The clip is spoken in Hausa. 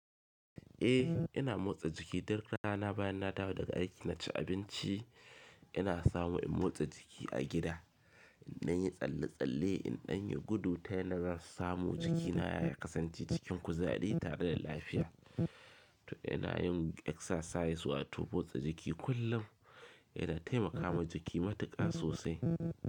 Eh ina motsa jiki duk rana bayan na dawo daga aiki na ci abinci ina samu in motsa jiki a gida. In na yi tsalle-tsalle in danyi gudu ta yanda samu jikina ya kasance cikin kuzari tare da lafiya. To ina yin exercise wato motsa jiki kullum yana taimakawa jiki matuƙa sosai.